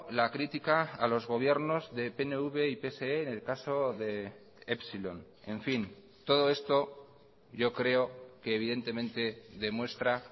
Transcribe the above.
la crítica a los gobiernos de pnv y pse en el caso de epsilon en fin todo esto yo creo que evidentemente demuestra